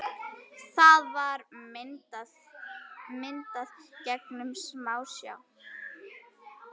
Það var myndað gegnum smásjá.